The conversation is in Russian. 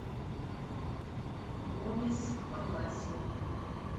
гомес паласио